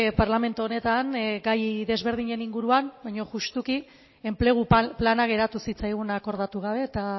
parlamentu honetan gai desberdinen inguruan baina justuki enplegu plana geratu zitzaigun akordatu gabe eta